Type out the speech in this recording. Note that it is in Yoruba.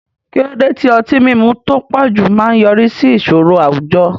Kí ló dé tí ọtí mímu tó pọ̀jù máa ń yọrí sí ìṣòro àwùjọ?